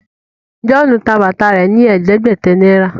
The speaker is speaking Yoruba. John tá bàtà rẹ ní ẹdẹgbẹta náírà.